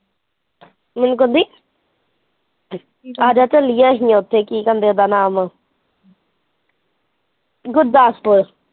ਮੈਨੂੰ ਕਹਿੰਦੀ ਆਜਾ ਚੱਲੀਏ ਉੱਥੇ ਕੀ ਕਹਿੰਦੇ ਉਹਦਾ ਨਾਮ gurdaspur